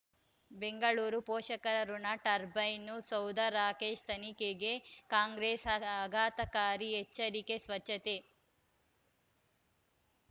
ಬೆಂಗಳೂರು ಪೋಷಕರಋಣ ಟರ್ಬೈನು ಸೌಧ ರಾಕೇಶ್ ತನಿಖೆಗೆ ಕಾಂಗ್ರೆಸ್ ಆಘಾತಕಾರಿ ಎಚ್ಚರಿಕೆ ಸ್ವಚ್ಛತೆ